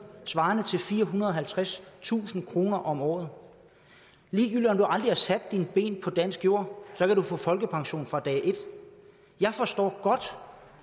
svarer til firehundrede og halvtredstusind kroner om året ligegyldigt om du aldrig har sat dine ben på dansk jord kan du få folkepension fra dag et jeg forstår godt